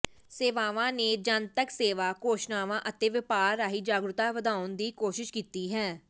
ਸੇਵਾਵਾਂ ਨੇ ਜਨਤਕ ਸੇਵਾ ਘੋਸ਼ਣਾਵਾਂ ਅਤੇ ਵਪਾਰ ਰਾਹੀਂ ਜਾਗਰੂਕਤਾ ਵਧਾਉਣ ਦੀ ਕੋਸ਼ਿਸ਼ ਕੀਤੀ ਹੈ